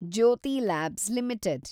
Jyothi labs limited